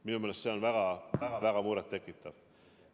Minu meelest see on väga-väga muret tekitav.